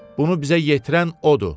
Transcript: bunu bizə yetirən odur.